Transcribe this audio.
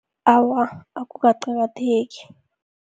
Awa, akukaqakatheki.